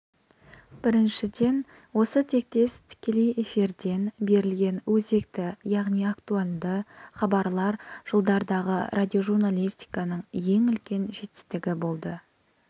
біріншіден осы тектес тікелей эфирден берілген өзекті яғни актуалды хабарлар жылдардағы радиожурналистиканың ең үлкен жетістігі болды